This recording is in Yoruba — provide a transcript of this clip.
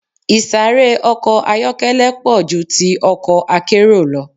Ìsáré ọkọ̀ ayọ́kẹ́lẹ́ pọ̀ ju ti ọkọ̀ akérò lọ.